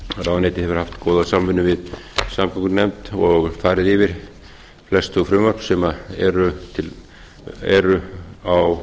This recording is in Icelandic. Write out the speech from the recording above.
ráðuneytið hefur haft góða samvinnu við samgöngunefnd og farið yfir flest þau frumvörp sem eru á